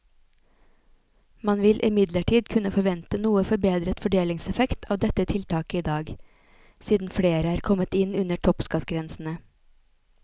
Man vil imidlertid kunne forvente noe forbedret fordelingseffekt av dette tiltaket i dag, siden flere er kommet inn under toppskattgrensene.